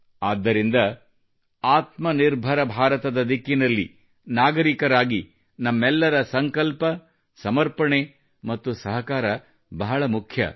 ಆದ್ದರಿಂದ ಆತ್ಮನಿರ್ಭರ ಭಾರತದ ದಿಕ್ಕಿನಲ್ಲಿ ಒಬ್ಬ ನಾಗರೀಕನಾಗಿ ನಮ್ಮೆಲ್ಲರ ಸಂಕಲ್ಪ ಸಮರ್ಪಣೆ ಮತ್ತು ಸಹಕಾರ ಬಹಳ ಮುಖ್ಯ